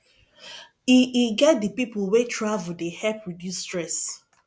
e e get di pipo wey travel dey help reduce stress